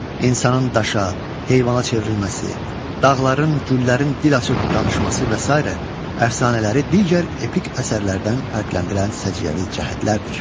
İnsanın daşa, heyvana çevrilməsi, dağların, güllərin dil açıb danışması və sairə əfsanələri digər epik əsərlərdən fərqləndirən səciyyəvi cəhətlərdir.